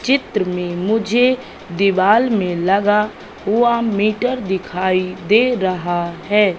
चित्र में मुझे दीवाल में लगा हुआ मीटर दिखाई दे रहा है।